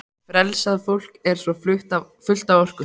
Frelsað fólk er svo fullt af orku.